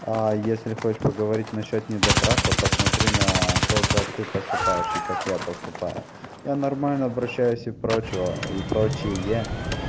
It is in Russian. а если хочешь поговорить насчёт недотраха посмотри на то как ты поступаешь и как я поступаю я нормально обращаюсь и прочего и прочее